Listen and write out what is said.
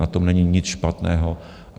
Na tom není nic špatného.